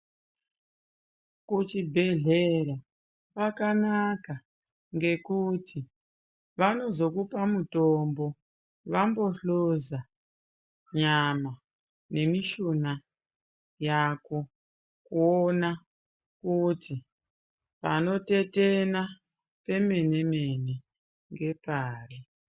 Kuchibhedhlera kwakanaka, ngekuti, vanozokupa mutombo vambohloza, nyama nemishuna yako, kuona kuti panotetena pemene-mene, ngepari?